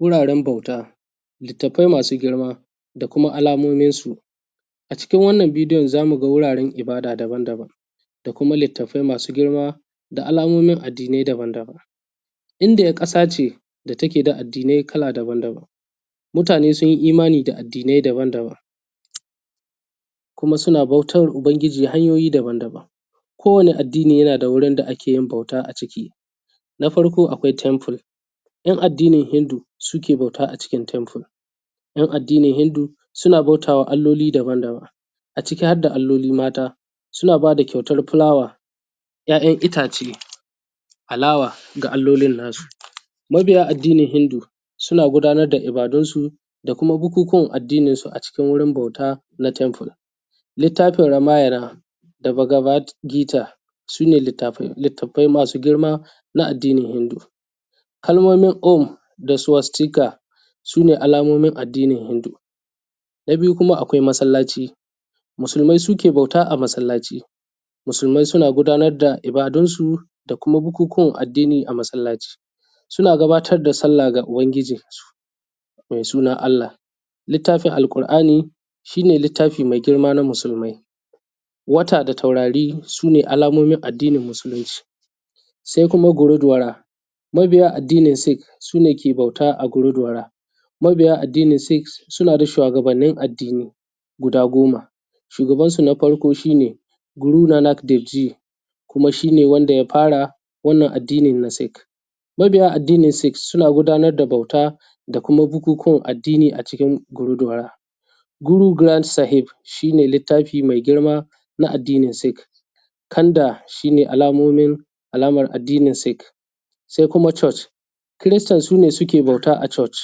Wuraren bauta, littafai masu girma da kuma alamomin su. A cikin wannan bidiyon za mu ga wurin ibada daban daban da kuma littafai masu girma, da alamomin addinai daban daban. Indiya ƙasa ce da take da addinai kala daban daban. Mutane sun yi imani da addinai daban daban kuma suna bautan ubangiji hanyoyi daban daban. Kowane addini yana da wurin da ake yin bauta a ciki. Na farko akwai temple ‘yan addinin hindu suke bauta a cikin temple, ‘yan addinin hindu suna bautawa alloli daban daban a ciki harda alloli mata. Suna ba da kyautan fulawa, ‘ya’yan itace, alawa ga allolin na su. Mabiya addinin hindu suna gudanar da ibadunsu da kuma bukukuwan addinin su a cikin wurin bauta na temple. Littafin Ramayana da bagabat gita sune littafin littafai masu girma na addinin hindu. Kalmomin um da suwastika sune alamomin addinin hindu. Na biyu kuma akwai masallaci. Musulmai suke bauta a masallaci. Musulmai suna gudanar da ibadun su da kuma bukukuwan addini a masallaci, suna gabatar da sallah ga ubangijinsu, mai suna Allah. Littafin al’ƙur’ani shi ne littafi mai girma na musulmai. Wata da taurari sune alamomin addinin musulunci. Sai kuma goredora mabiya addinin sik su ne ke bauta aguredora mabiya addinin sik suna da shuwagabannin addini guda goma, shugaban sun a farko shine gurudana dikji. Kuma shine wanda ya fara wannan addini na sik mabiya addini na sik suna gudanar da bauta da kuma bukukuwan addini a cikin guruduwora. Guruduran sahib shi ne littafi mai girma na addinin sik. Kanda shine alaman addinin sik. Sai kuma church kristan sune suke bauta a church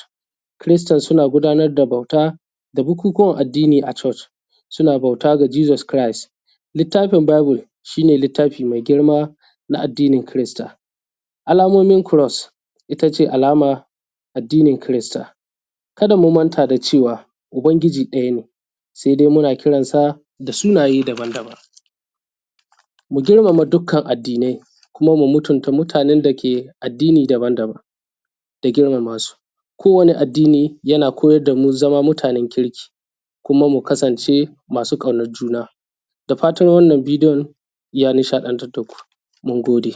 kristann suna gudanar da bauta da bukukuwan addini a church, suna bauta ga jesus cris, littafin bible shi ne littafi mai girma na addinin krista. Alamomin cross itace alama addinin krista. Ka da mu manta da cewa ubangiji ɗaya ne sai dai muna kiransa da sunaye daban daban. Mu girmama dukkan addinai kuma mu mutunta mutane ke addini daban daban da girmama su ko wani addini yana koyar damu zama mutanen kirki kuma mu kasance masu ƙaunan juna. Da fatan wannan bidiyon ya nishadantar da ku mun gode.